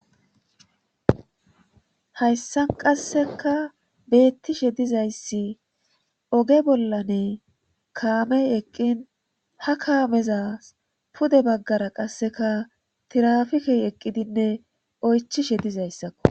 hayssan qasseka beettishe dizayssi oge bollane kaamey eqqin ha kaameza pude baggara qasseka tirafikey eqqidinne oychishe dizayssakko